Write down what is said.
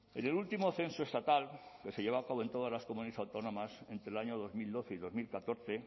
en el último censo estatal que se llevó a cabo en todas las comunidades autónomas entre el año dos mil doce y dos mil catorce